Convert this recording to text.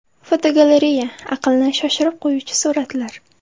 Fotogalereya: Aqlni shoshirib qo‘yuvchi suratlar.